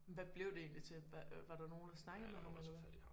Men hvad blev det egentlig til hvad øh var der nogen der snakkede med ham eller hvad?